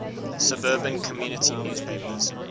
suburban community newspapers